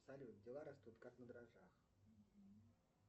салют дела растут как на дрожжах